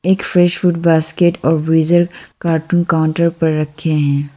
Facebook basket geyser का cartoon table पर रखे हुए हैं।